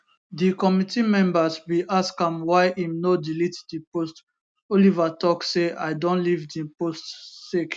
di committee members bin ask am why im no delete di post oliver tok say i don leave di post sake